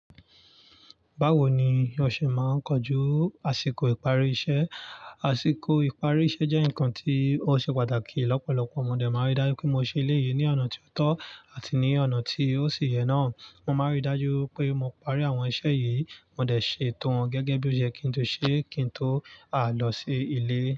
Báwo ni o ṣe máa ń kojú àsìkò ìparí iṣẹ́? Àsìkò ìparí iṣẹ́ jẹ́ nǹkan tí ó ṣe pàtàkì. Lọ́pọ̀lọpọ̀ modẹ́ máa nrí dájú pé mo ṣe eléyìí ní ọ̀nà tí ó tọ́ àti ní ọ̀nà tí ó sì yẹ náà. Mo máa nrí dájú pé mo parí àwọn iṣẹ́ yìí, mo dẹ̀ ṣe ètò wọn gẹ́gẹ́ bí ó ṣe yẹ́ kí n ti ṣe, kí n tó lọ sí ilé.